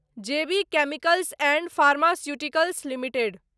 जे B Chemicals and Pharmaceuticals limited